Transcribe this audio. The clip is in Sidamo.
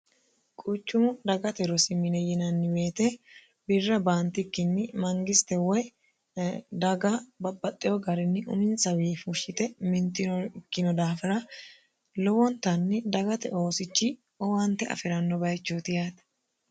quuchumu dagate rosimine yinanni weete birra baantikkinni mangiste woy daga babaxxewo garinni uminsawii fushshite mintino ikkino daafira lowontanni dagate oosichi owante afi'ranno bayichooti yaate